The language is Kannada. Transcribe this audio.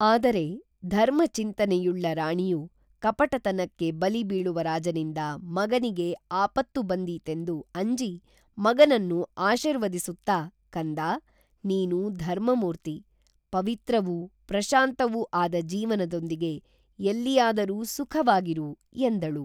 ಆದರೆ ಧರ್ಮ ಚಿಂತನೆಯುಳ್ಳ ರಾಣಿಯು ಕಪಟತನಕ್ಕೆ ಬಲಿ ಬೀಳುವ ರಾಜನಿಂದ ಮಗನಿಗೆ ಆಪತ್ತು ಬಂದೀತೆಂದು ಅಂಜಿ ಮಗನನ್ನು ಆಶೀರ್ವದಿಸುತ್ತಾ ಕಂದಾ, ನೀನು ಧರ್ಮಮೂರ್ತಿ, ಪವಿತ್ರವೂ, ಪ್ರಶಾಂತವೂ ಆದ ಜೀವನದೊಂದಿಗೆ ಎಲ್ಲಿಯಾದರೂ ಸುಖವಾಗಿರು ಎಂದಳು